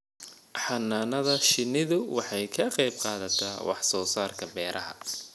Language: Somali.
Xannaanada shinnidu waxay ka qayb qaadataa wax soo saarka beeraha.